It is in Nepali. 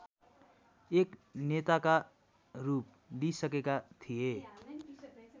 एक नेताकारूप लिईसकेका थिए